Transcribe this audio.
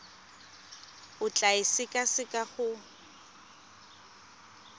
o tla e sekaseka go